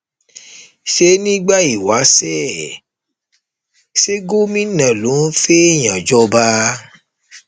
ṣé nígbà ìwáṣẹ ṣe gómìnà ló ń fẹẹyàn jọba